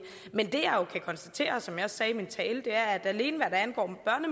men det jeg jo kan konstatere og som jeg også sagde i min tale er at alene hvad angår